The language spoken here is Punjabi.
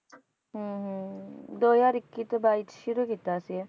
ਹਮ ਹਮ ਦੋ ਹਜ਼ਾਰ ਇੱਕੀ ਤੋਂ ਬਾਈ 'ਚ ਸ਼ੁਰੂ ਕੀਤਾ ਸੀ ਇਹ